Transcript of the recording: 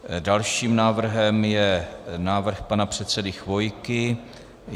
Dalším návrhem je návrh pana předsedy Chvojky.